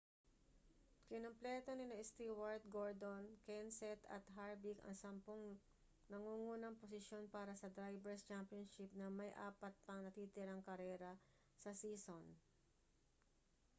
kinumpleto nina stewart gordon kenseth at harvick ang sampung nangungunang posisyon para sa drivers' championship na may apat pang natitirang karera sa season